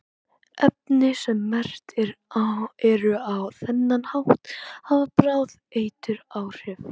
efni sem merkt eru á þennan hátt hafa bráð eituráhrif